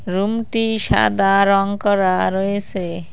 রুমটির সাদা রং করা রয়েসে।